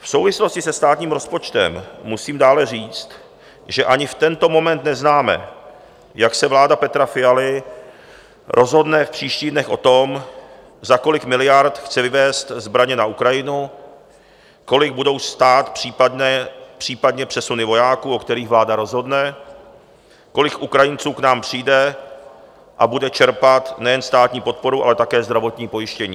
V souvislosti se státním rozpočtem musím dále říct, že ani v tento moment neznáme, jak se vláda Petra Fialy rozhodne v příštích dnech o tom, za kolik miliard chce vyvézt zbraně na Ukrajinu, kolik budou stát případně přesuny vojáků, o kterých vláda rozhodne, kolik Ukrajinců k nám přijde a bude čerpat nejen státní podporu, ale také zdravotní pojištění.